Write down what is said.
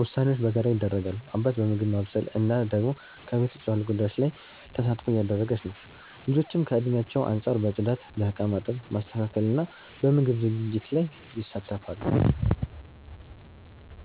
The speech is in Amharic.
ውሳኔዎች በጋራ ይደረጋሉ፤ አባት በምግብ ማብሰል፣ እናት ደግሞ ከቤት ውጭ ባሉ ጉዳዮች ላይ ተሳትፎ እያደረገች ነው። ልጆችም ከእድሜያቸው አንጻር በጽዳት፣ በእቃ ማጠብ፣ ማስተካከል እና በምግብ ዝግጅት ላይ ይሳተፋሉ።